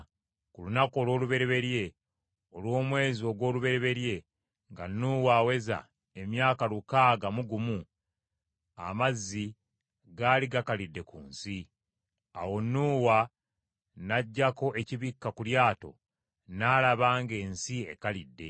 Ku lunaku olw’olubereberye, olw’omwezi ogw’olubereberye nga Nuuwa aweza emyaka lukaaga mu gumu, amazzi gaali gakalidde ku nsi. Awo Nuuwa n’aggyako ekibikka ku lyato n’alaba ng’ensi ekalidde.